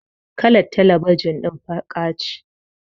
Kalar talebijin din baƙa ce.